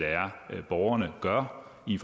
borgerne gør i